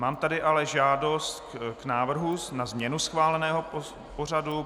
Mám tady ale žádost k návrhu na změnu schváleného pořadu.